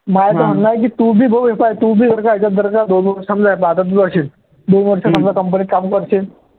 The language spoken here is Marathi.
माझ्या तर online दोन वर्ष समजा company त काम करशील